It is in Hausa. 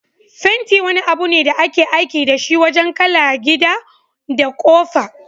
Fenti wani abune da ake aiki dashi wajan kala gida da ƙofa.